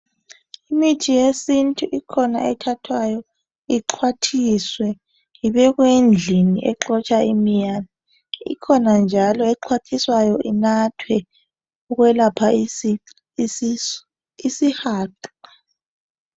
Imithi yesintu ikhona ethathwayo ixhwathiswe ibekwe endlini exotsha imiyane. Ikhona njalo exhwathiswayo inathwe ukwelapha isi isisu isihaqa.